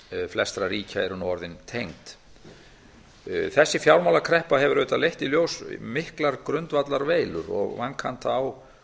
flestra ríkja eru nú orðin tengd hvert öðru þessi fjármálakreppa hefur auðvitað leitt í ljós miklar grundvallarveilur og vankanta á fjármálakerfinu ég held